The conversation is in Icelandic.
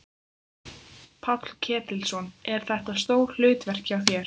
Páll Ketilsson: Er þetta stór hlutverk hjá þér?